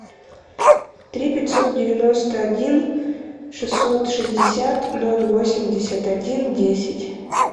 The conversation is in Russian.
три пятьсот девяносто один шестьсот шестьдесят ноль восемьдесят один десять